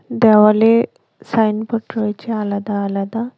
দেওয়ালে সাইনবোর্ড রয়েছে আলাদা আলাদা।